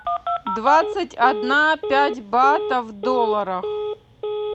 двадцать одна пять батов в долларах